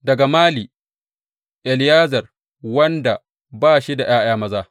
Daga Mali, Eleyazar, wanda ba shi da ’ya’ya maza.